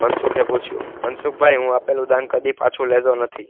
મનસુખે પૂછ્યું મનસુખભાઇ હું આપેલું દાન કદી પાછું લેતો નથી